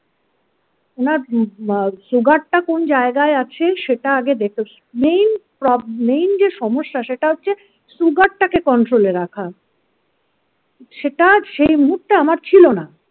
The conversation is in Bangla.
ওনার আ সুগারটা কোন জায়গায় আছে সেটা আগে দেখে main প্রব main যে সমস্যা সেটা হচ্ছে সুগারটাকে কন্ট্রোলে রাখা সেটা সেই মুহূর্তে আমার ছিল না।